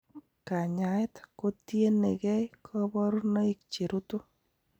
Kanyaet kotienegei koborunoik cherutu.